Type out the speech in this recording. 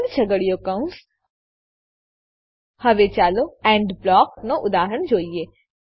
બંધ છગડીયો કૌંસ હવે ચાલો એન્ડ બ્લોકનાં ઉદાહરણો જોઈએ